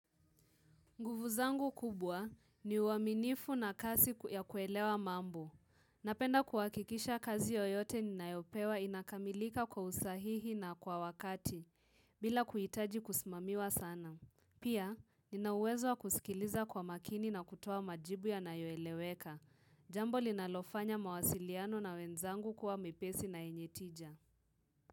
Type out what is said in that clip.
Nguvu zangu kubwa ni uaminifu na kasi ya kuelewa mambo. Napenda kuwahikikisha kazi yoyote ninayopewa inakamilika kwa usahihi na kwa wakati, bila kuhitaji kusimamiwa sana. Pia, nina uwezo kusikiliza kwa makini na kutoa majibu yanayoeleweka. Jambo linalofanya mawasiliano na wenzangu kuwa mepesi na yenye tija.